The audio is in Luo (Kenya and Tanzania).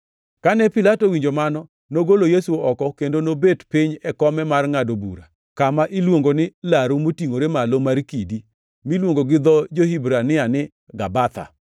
Kane Pilato owinjo mano, nogolo Yesu oko kendo nobet piny e kome mar ngʼado bura kama iluongo ni Laru motingʼore malo mar kidi (miluongo gi dho jo-Hibrania ni Gabatha).